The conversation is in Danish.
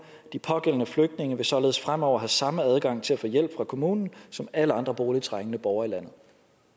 de pågældende flygtninge vil således fremover have samme adgang til at få hjælp fra kommunen som alle andre boligtrængende borgere i landet